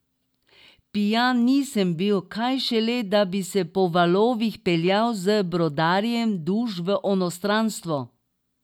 Pijan nisem bil, kaj šele, da bi se po valovih peljal z brodarjem duš v onstranstvo.